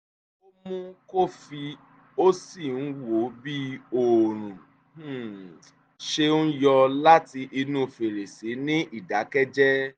ó mu kọfí ó sì ń wo bí òórùn um ṣe ń yọ láti inú fèrèsé ní ìdákẹ́jẹ́